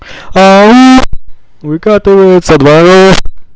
ау выкатывается дворов